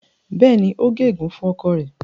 béèni o gé egun fún ọkọ rẹ.